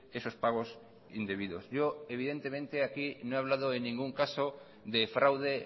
esos pagos indebidos yo evidentemente aquí no he hablado en ningún caso de fraude